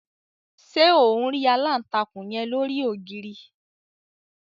Ṣe on ri alántakùn yen lori ogiri?